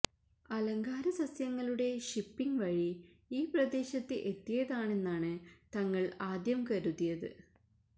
അലങ്കാര സസ്യങ്ങളുടെ ഷിപ്പിംഗ് വഴി ഈ പ്രദേശത്ത് എത്തിയതാണെന്നാണ് തങ്ങള് ആദ്യം കരുതിയത്